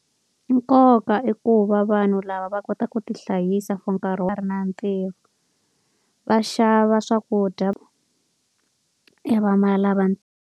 Nkoka i ku va vanhu lava va kotaka ku ti hlayisa for nkarhi na ntirho. Va xava swakudya .